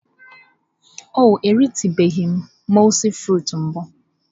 Ọ eritụbeghị mọulsị frịts mbụ.